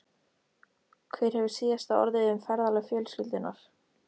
Hver hefur síðasta orðið um ferðalög fjölskyldunnar?